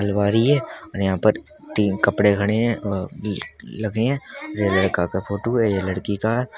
अलमारी है और यहां पर तीन कपड़े खड़े हैं और अं लगे हैं और ये लड़का का फोटू है ये लड़की का है --